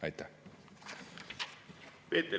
Aitäh!